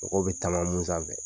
Mɔgɔw bɛ taama mun sanfɛ.